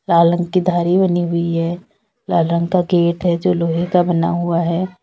लाल रंग की धारी बनी हुई है लाल रंग का गेट है जो लोहे का बना हुआ है।